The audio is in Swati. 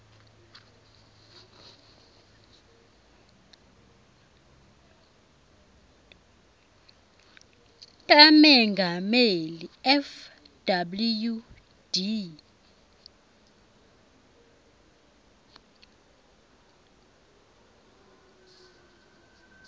tamengameli fw de